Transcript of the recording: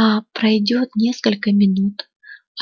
а пройдёт несколько минут